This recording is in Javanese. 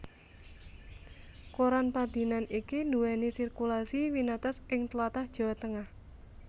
Koran padinan iki nduwèni sirkulasi winates ing tlatah Jawa Tengah